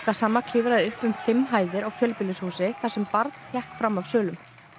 gassama klifraði upp um fimm hæðir á fjölbýlishúsi þar sem barn hékk fram af svölum